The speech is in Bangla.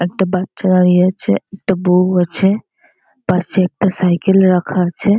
একটা বাচ্চা দাড়িয়ে আছে একটা বউও আছে পাশে একটা সাইকেল রাখা আছে ।